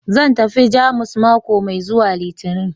Zan tafi Jamus mako mai zuwa Litinin